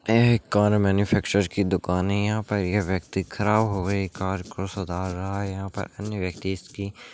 यह एक car manufacture की दुकान है यहां पर यह व्यक्ति खड़ा हो कर कार को सुधार रहा है यहां पर अन्य व्यक्ति --